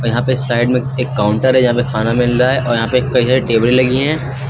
यहां पे साइड में एक काउंटर है जहां पे खाना मिल रहा है और यहां पर कई टेबलें लगी है।